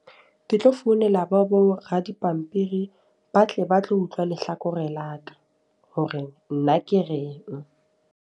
Ke tlo founela bo bo ra dipampiri. Ba tle ba tlo utlwa lehlakore la ka. Hore nna ke reng.